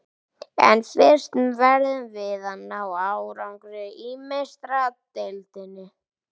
En fyrst verðum við að ná árangri í Meistaradeildinni.